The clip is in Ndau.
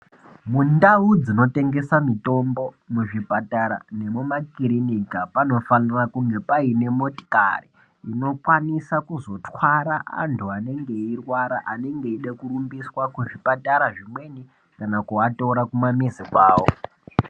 Mundau dzino tengesa mitombo mu zvipatara nemu makiriniki panofanira kunge paine motikari ino kwanisa kuzotwara antu anenge ei rwara anenge eide kurumbiswa ku zvipatara zvimweni kana kuva tora kuma mizi kwawo.